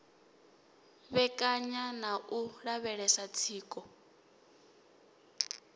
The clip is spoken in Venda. vhekanya na u lavhelesa tsiko